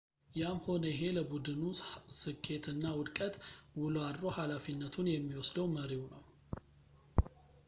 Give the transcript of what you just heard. ያም ሆነ ይሄ ለቡድኑ ስኬት እና ውድቀት ውሎ አድሮ ሃላፊነቱን የሚወስደው መሪው ነው